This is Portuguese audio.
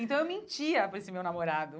Então eu mentia para esse meu namorado.